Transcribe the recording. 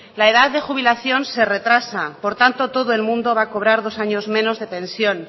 la edad de jubilación se retrasa por tanto todo el mundo va a cobrar dos años menos de pensión